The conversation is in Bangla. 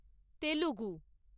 তেলেগু